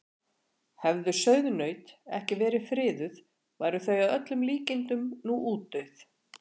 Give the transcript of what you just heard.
Hefðu sauðnaut ekki verið friðuð væru þau að öllum líkindum nú útdauð.